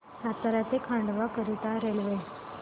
सातारा ते खंडवा करीता रेल्वे